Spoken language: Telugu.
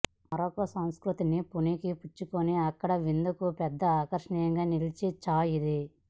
మొరాకో సంస్కృతిని పుణికి పుచ్చుకుని అక్కడి విందులకు పెద్ద ఆకర్షణగా నిలిచిన చాయ్ ఇది